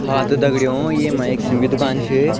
हाँ त दगड़ियों येमा एक सिम क दूकान छ।